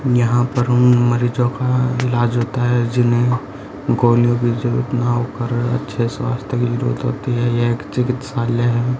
यहां पर मरीजों का इलाज होता हैं जिन्हें गोलियों की जरूरत न होकर अच्छे स्वास्थ्य के लिए जरूरत लगती हैं ये एक चिकित्सालय है।